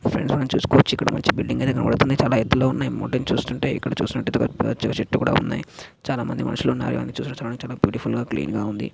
Friends మనం చూసుకోవచ్చు ఇక్కడ మంచి బిల్డింగ్ అనేవి కనబడుతుంది. చాలా ఎత్తులో ఉన్నాయి మౌంటెన్ చూస్తుంటే. ఇక్కడ చూస్తుంటే పచ్చగా చెట్లు కూడా ఉన్నాయి. చాలామంది మనుషులు ఉన్నారు చూడ్డానికి చాలా చాలా బ్యూటిఫుల్ గా క్లీన్ గా ఉంది.